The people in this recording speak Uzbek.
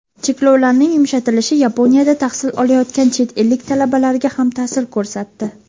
Cheklovlarning yumshatilishi Yaponiyada tahsil olayotgan chet ellik talabalarga ham ta’sir ko‘rsatdi.